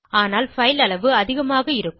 ஆனால் பைல் அளவு அதிகமாக இருக்கும்